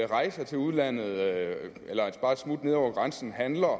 rejser til udlandet eller bare et smut nede over grænsen handler